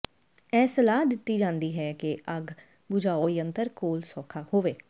ਇਹ ਸਲਾਹ ਦਿੱਤੀ ਜਾਂਦੀ ਹੈ ਕਿ ਅੱਗ ਬੁਝਾਊ ਯੰਤਰ ਕੋਲ ਸੌਖਾ ਹੋਵੇ